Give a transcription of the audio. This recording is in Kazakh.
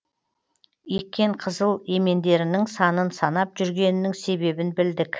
еккен қызыл емендерінің санын санап жүргенінің себебін білдік